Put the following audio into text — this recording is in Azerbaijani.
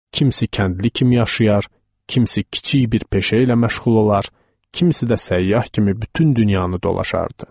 Kimisi kəndli kimi yaşayar, kimisi kiçik bir peşə ilə məşğul olar, kimisi də səyyah kimi bütün dünyanı dolaşardı.